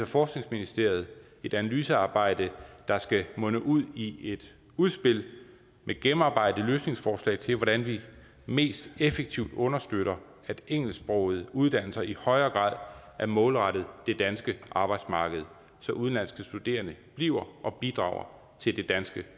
forskningsministeriet et analysearbejde der skal munde ud i et udspil med gennemarbejdede løsningsforslag til hvordan vi mest effektivt understøtter at engelsksprogede uddannelser i højere grad er målrettet det danske arbejdsmarked så udenlandske studerende bliver og bidrager til det danske